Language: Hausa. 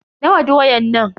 Nawa doyan nan?